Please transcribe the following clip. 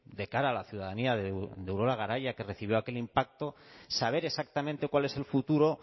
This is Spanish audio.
de cara a la ciudadanía de urola garaia que recibió aquel impacto saber exactamente cuál es el futuro